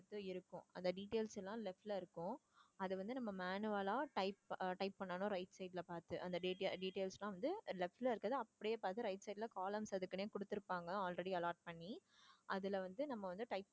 இருக்கும் அந்த details எல்லாம் left ல இருக்கும் அத வந்து நம்ம manual ஆ type அஹ் type பண்ணனும் right side ல பாத்து அந்த data~ details எல்லாம் வந்து left ல இருக்குறத அப்படியே பாத்து right side ல columns அதுக்குன்னே கொடுத்திருப்பாங்க already allot பண்ணி அதுல வந்து நம்ம வந்து type